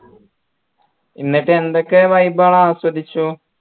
എന്നിട്ട് എന്തൊക്കെ vibe അ ആസ്വദിച്ചു